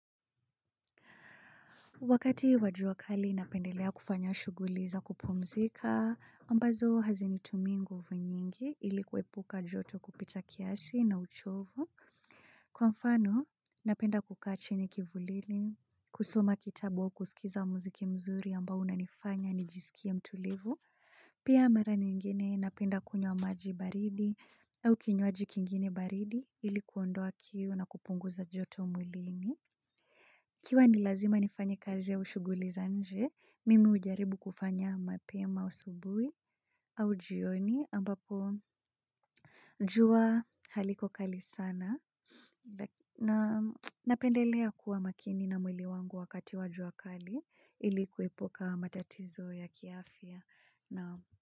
Wakati wajua kali napendelea kufanya shuguliza kupumzika, ambazo hazinitumii nguvu nyingi ili kuepuka joto kupita kiasi na uchovu. Kwa mfano, napenda kukaa chini kivulini, kusoma kitabu au kusikiza muziki mzuri ambao unanifanya nijisikie mtulivu. Pia mara nyingine napenda kunywa maji baridi au kinywaji kingine baridi ilikuondoa kiu na kupunguza joto mwilini. Ikiwa nilazima nifanye kazi au ushuguli za nje, mimi ujaribu kufanya mapema usubui au jioni ambapo jua haliko kali sana. Napendelea kuwa makini na mwili wangu wakati wajua kali ilikuepuka matatizo ya kiafya.